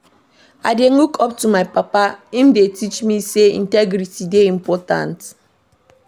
I dey look up to my papa, im dey teach me sey integrity dey important.